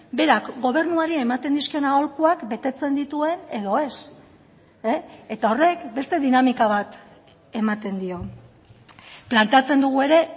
berak gobernuari ematen dizkion aholkuak betetzen dituen edo ez eta horrek beste dinamika bat ematen dio planteatzen dugu ere